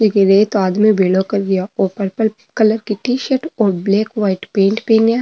इकी रेत आदमी भेलो कर रहियो ओ पर्पल कलर की टी-शर्ट और ब्लैक वाइट की पेंट पहनिया --